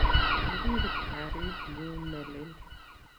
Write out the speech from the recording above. Pirir karit nyu ne lel